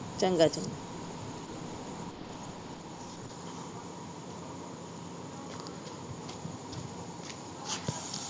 ਚੰਗਾ, ਚੰਗਾ